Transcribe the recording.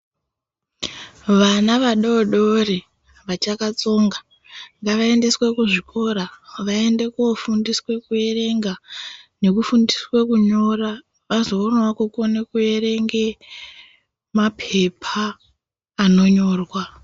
Vana vadodori vachakatsonga ngavaendeswe kuzvikora vaende kofundiswa kuerenga, nekufundiswe kunyora vazoonawo kukona kuerenge mapepa anonyorwa.